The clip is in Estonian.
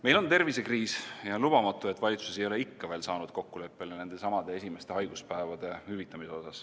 Meil on tervisekriis ja on lubamatu, et valitsus ei ole ikka veel saanud kokkuleppele esimeste haiguspäevade hüvitamises.